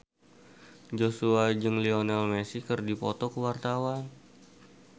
Joshua jeung Lionel Messi keur dipoto ku wartawan